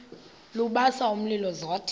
lubasa umlilo zothe